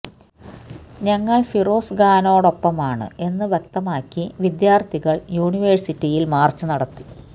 ഞങ്ങള് ഫിറോസ് ഖാനോടൊപ്പമാണ് എന്ന് വ്യക്തമാക്കി വിദ്യാര്ത്ഥികള് യൂണിവേഴ്സിറ്റിയില് മാര്ച്ച് നടത്തി